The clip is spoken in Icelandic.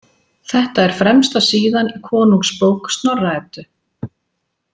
Þetta er fremsta síðan í Konungsbók Snorra- Eddu.